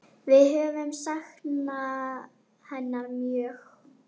Við höfum saknað hennar mjög.